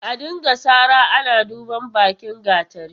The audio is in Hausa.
A dinga sara ana duban bakin gatari.